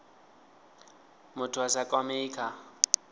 muthu a sa kwamei kha